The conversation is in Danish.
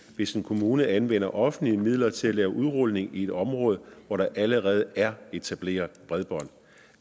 hvis en kommune anvender offentlige midler til at lave udrulning i et område hvor der allerede er etableret bredbånd